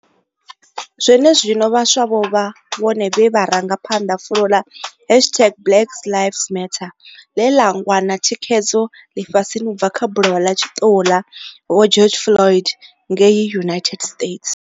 Zwenezwino, vhaswa vho vha vhone vhe vha ranga phanḓa fulo ḽa hashtag Black Lives Matter ḽe ḽa wana thikhedzo ḽifhasini u bva kha bulayo ḽa tshiṱuhu ḽa Vho George Floyd ngei United States.